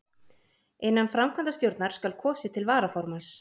innan framkvæmdarstjórnar skal kosið til varaformanns